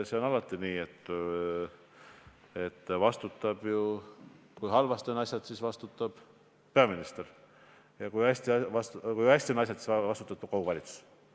See on alati nii, et kui asjad on halvasti, siis vastutab peaminister, ja kui asjad on hästi, siis vastutab kogu valitsus.